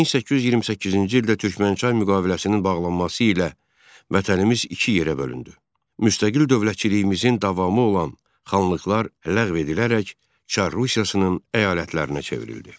1828-ci ildə Türkmənçay müqaviləsinin bağlanması ilə vətənimiz iki yerə bölündü, müstəqil dövlətçiliyimizin davamı olan xanlıqlar ləğv edilərək Çar Rusiyasının əyalətlərinə çevrildi.